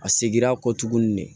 A seginna a kɔ tuguni de